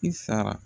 I sara